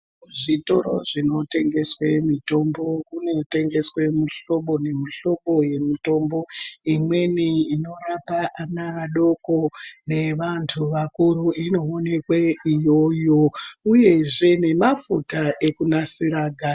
Kuzvitoro zvinotengeswa mitombo kunotengeswa mihlobo nemihlobo yemitombo imweni inorapa ana adoko nevantu vakuru inoonekwe iyoyo uyezve nemafuta ekunasira ganda.